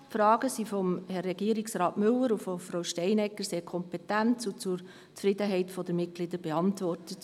Die Fragen wurden von Herrn Regierungsrat Müller und von Frau Steinegger sehr kompetent und zur Zufriedenheit der Mitglieder beantwortet.